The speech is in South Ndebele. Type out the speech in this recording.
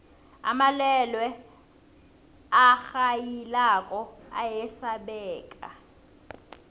amalwelwe arhayilako ayasabeka